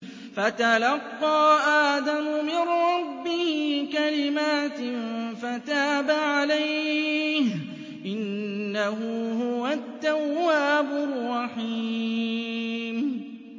فَتَلَقَّىٰ آدَمُ مِن رَّبِّهِ كَلِمَاتٍ فَتَابَ عَلَيْهِ ۚ إِنَّهُ هُوَ التَّوَّابُ الرَّحِيمُ